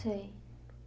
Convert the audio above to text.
Sei.